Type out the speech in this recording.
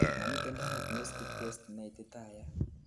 momiten diagnostic test neititayat